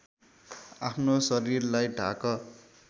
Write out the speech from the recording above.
आफ्नो शरीरलाई ढाक